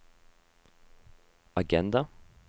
agenda